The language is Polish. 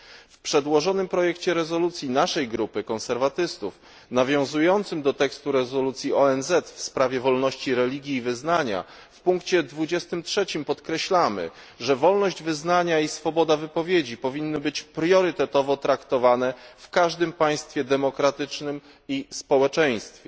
W przedłożonym projekcie rezolucji naszej grupy, konserwatystów, nawiązującym do tekstu rezolucji ONZ w sprawie wolności religii i wyznania, w punkcie 23 podkreślamy, że wolność wyznania i swoboda wypowiedzi powinny być priorytetowo traktowane w każdym państwie demokratycznym i społeczeństwie.